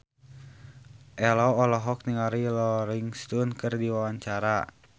Ello olohok ningali Rolling Stone keur diwawancara